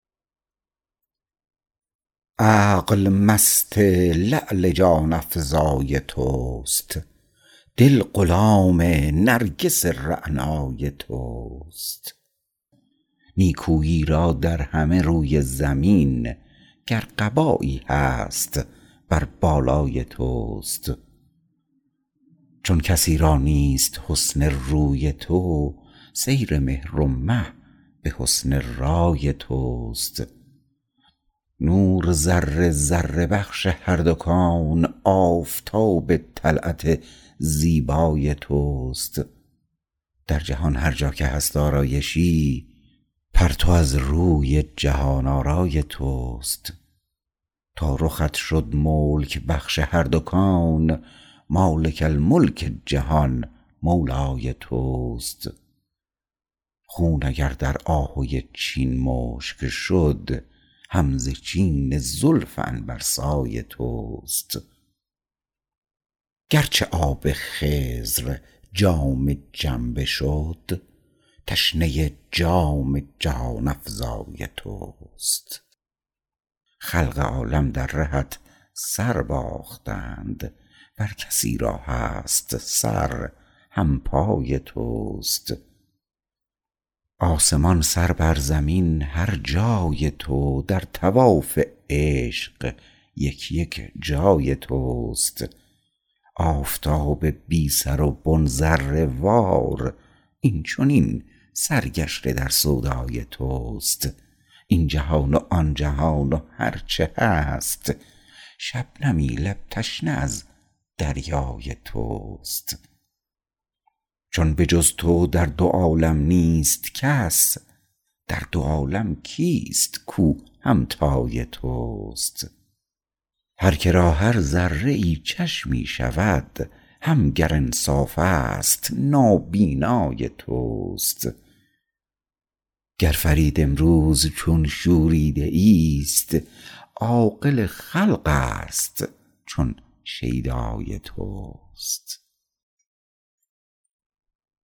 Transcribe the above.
عقل مست لعل جان افزای توست دل غلام نرگس رعنای توست نیکویی را در همه روی زمین گر قبایی هست بر بالای توست چون کسی را نیست حسن روی تو سیر مهر و مه به حسن رای توست نور ذره ذره بخش هر دو کون آفتاب طلعت زیبای توست در جهان هرجا که هست آرایشی پرتو از روی جهان آرای توست تا رخت شد ملک بخش هر دو کون مالک الملک جهان مولای توست خون اگر در آهوی چین مشک شد هم ز چین زلف عنبرسای توست گرچه آب خضر جام جم بشد تشنه جام جهان افزای توست خلق عالم در رهت سر باختند ور کسی را هست سر همپای توست آسمان سر بر زمین هر جای تو در طواف عشق یک یک جای توست آفتاب بی سر و بن ذره وار این چنین سرگشته در سودای توست این جهان و آن جهان و هرچه هست شبنمی لب تشنه از دریای توست چون به جز تو در دو عالم نیست کس در دو عالم کیست کوهمتای توست هر که را هر ذره ای چشمی شود هم گر انصاف است نابینای توست گر فرید امروز چون شوریده ای است عاقل خلق است چون شیدای توست